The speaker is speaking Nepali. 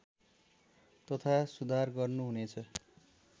तथा सुधार गर्नुहुनेछ